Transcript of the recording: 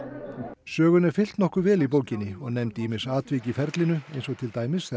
sögunni er fylgt nokkuð vel í bókinni og nefnd ýmis atvik í ferlinu til dæmis þegar